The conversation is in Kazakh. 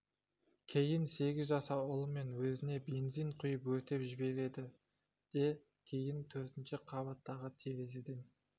кейін сегіз жасар ұлы мен өзіне бензин құйып өртеп жібереді де кейін төртінші қабаттағы терезеден